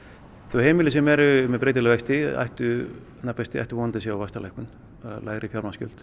heimili sem eru með breytilega vexti ættu vexti ættu vonandi að sjá vaxtalækkun lægri